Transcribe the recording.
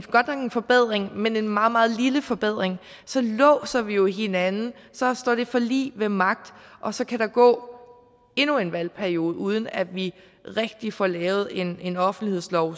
godt nok en forbedring men en meget meget lille forbedring så låser vi jo hinanden så står det forlig ved magt og så kan der gå endnu en valgperiode uden at vi rigtig får lavet en en offentlighedslov